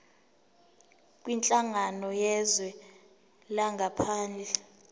kwinhlangano yezwe langaphandle